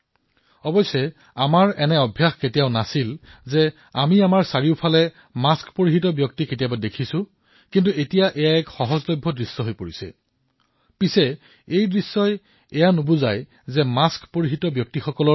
ইয়াৰ অৰ্থ এয়া নহয় যে মাস্ক পিন্ধা মানেই ৰোগত আক্ৰান্ত হোৱা